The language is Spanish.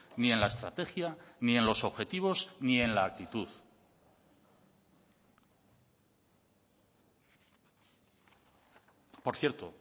ni en la estrategia ni en los objetivos ni en la actitud por cierto